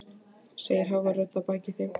segir hávær rödd að baki þeim.